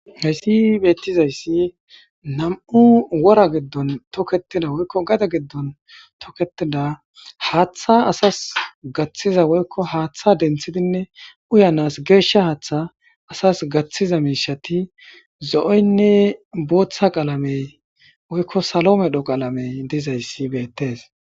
Hayssi beettizayssi nam7u wora giddon tokketida woykko gada giddon tokketida haaththa asas gaththiza woykko haaththa denthibinne uyanas geeshsha haaththa asas gaththiza miishati zo7oynne booththa qaalamey woykko salo medho qaalamey dizayssi beettees.